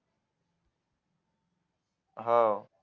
हो